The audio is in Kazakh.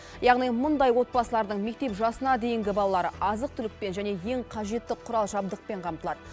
яғни мұндай отбасылардың мектеп жасына дейінгі балалары азық түлікпен және ең қажетті құрал жабдықпен қамтылады